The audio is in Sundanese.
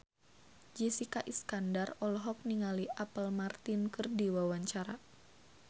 Jessica Iskandar olohok ningali Apple Martin keur diwawancara